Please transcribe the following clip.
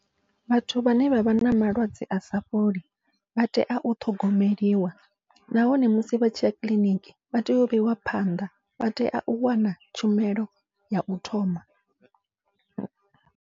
Vhathu vhane vha vha na malwadze asa fholi vha tea u ṱhogomeliwa, nahone musi vha tshiya kiḽiniki vha tea u vheiwa phanḓa vha tea u wana tshumelo yau thoma.